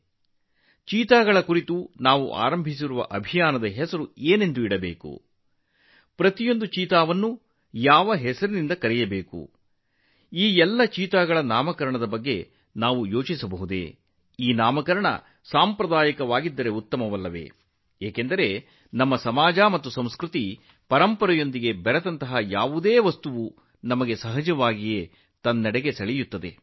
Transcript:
ನಾವು ಚೀತಾಗಳ ಬಗ್ಗೆ ನಡೆಸುತ್ತಿರುವ ಅಭಿಯಾನಕ್ಕೆ ಯಾವ ಹೆಸರಿಡಬಹುದು ಈ ಎಲ್ಲಾ ಚೀತಾಗಳಿಗೆ ನಾವು ಹೆಸರಿಡುವ ಬಗ್ಗೆ ಯೋಚಿಸಬಹುದೇ ಪ್ರತಿಯೊಂದನ್ನೂ ಯಾವ ಹೆಸರಿನಿಂದ ಕರೆಯಬೇಕು ಅಂದಹಾಗೆ ಈ ನಾಮಕರಣವು ಸಾಂಪ್ರದಾಯಿಕ ಸ್ವರೂಪದ್ದಾಗಿದ್ದರೆ ಅದು ತುಂಬಾ ಚೆನ್ನಾಗಿರುತ್ತದೆ ಏಕೆಂದರೆ ನಮ್ಮ ಸಮಾಜ ಮತ್ತು ಸಂಸ್ಕೃತಿ ಸಂಪ್ರದಾಯ ಮತ್ತು ಪರಂಪರೆಗೆ ಸಂಬಂಧಿಸಿದ ಯಾವುದಾದರೂ ನಮ್ಮನ್ನು ಸುಲಭವಾಗಿ ಸೆಳೆಯುತ್ತದೆ